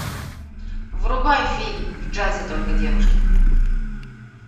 врубай фильм в джазе только девушки